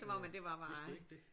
Øh vidste du ikke det?